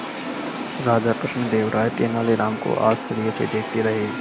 राजा कृष्णदेव राय तेनालीराम को आश्चर्य से देखते रहे